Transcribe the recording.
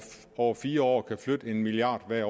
over fire år hvert år kan flytte en milliard kr